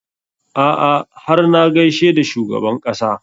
A'a har na gaishe da shugaban ƙasa